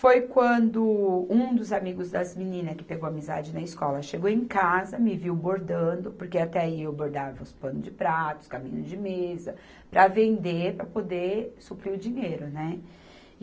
Foi quando um dos amigos das meninas que pegou amizade na escola chegou em casa, me viu bordando, porque até aí eu bordava os panos de pratos, os caminhos de mesa, para vender, para poder suprir o dinheiro, né?